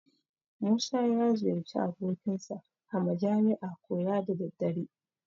Musa ya ziyarci abokinsa a majami'a koya da daddare.